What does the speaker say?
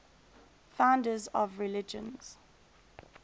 founders of religions